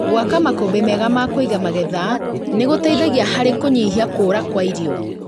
Gwaka makũmbĩ mega ma kũiga magetha nĩgũtethia harĩ kũnyihia kũra kwa irio